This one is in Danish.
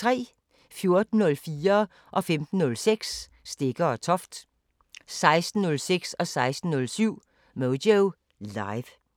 14:04: Stegger & Toft 15:06: Stegger & Toft 16:06: Moyo Live 17:06: Moyo Live